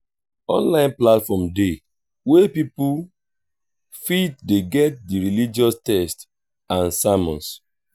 fake religious leaders de lead pipo astray for um religious matters